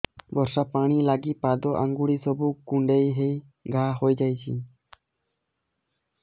ବର୍ଷା ପାଣି ଲାଗି ପାଦ ଅଙ୍ଗୁଳି ସବୁ କୁଣ୍ଡେଇ ହେଇ ଘା ହୋଇଯାଉଛି